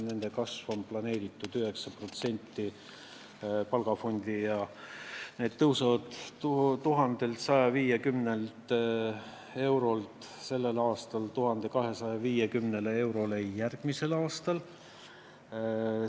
Palgafondi kasvuks on planeeritud 9% ja palgad tõusevad 1150 eurolt sellel aastal 1250 eurole järgmisel aastal.